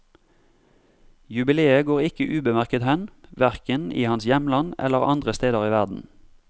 Jubileet går ikke ubemerket hen, hverken i hans hjemland eller andre steder i verden.